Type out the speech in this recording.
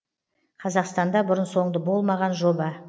қазақстанда бұрын соңды болмаған жоба